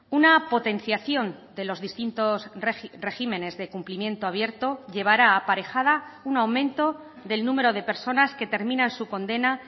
una potenciación de los distintos regímenes de cumplimiento abierto llevará aparejada un aumento del número de personas que terminan su condena